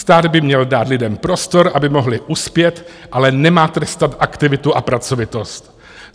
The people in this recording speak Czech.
Stát by měl dát lidem prostor, aby mohli uspět, ale nemá trestat aktivitu a pracovitost.